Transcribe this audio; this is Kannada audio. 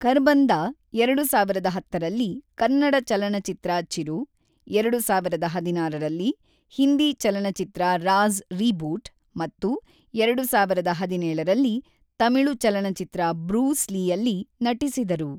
ಖರ್ಬಂದಾ ಎರಡು ಸಾವಿರದ ಹತ್ತರಲ್ಲಿ ಕನ್ನಡ ಚಲನಚಿತ್ರ ಚಿರು, ಎರಡು ಸಾವಿರದ ಹದಿನಾರರಲ್ಲಿ ಹಿಂದಿ ಚಲನಚಿತ್ರ ರಾಜ಼್: ರೀಬೂಟ್ ಮತ್ತು ಎರಡು ಸಾವಿರದ ಹದಿನೇಳರಲ್ಲಿ ತಮಿಳು ಚಲನಚಿತ್ರ ಬ್ರೂಸ್ ಲೀಯಲ್ಲಿ ನಟಿಸಿದರು.